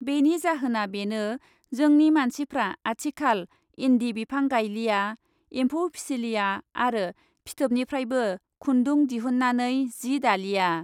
बेनि जाहोना बेनो जोंनि मानसिफ्रा आथिखाल इन्दि बिफां गायलिया , एम्फौफिसिलिया आरो फिथोबनिफ्रायबो खुन्दु दिहु नानै जि दालिया ।